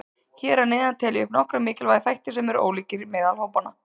Hér að neðan tel ég upp nokkra mikilvæga þætti sem eru ólíkir meðal hópanna.